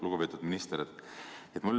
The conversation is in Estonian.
Lugupeetud minister!